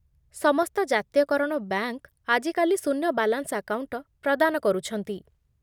ସମସ୍ତ ଜାତୀୟକରଣ ବ୍ୟାଙ୍କ ଆଜିକାଲି ଶୂନ୍ୟ ବାଲାନ୍ସ ଆକାଉଣ୍ଟ ପ୍ରଦାନ କରୁଛନ୍ତି।